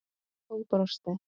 Og brosti.